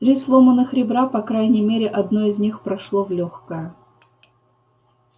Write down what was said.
три сломанных ребра и по крайней мере одно из них прошло в лёгкое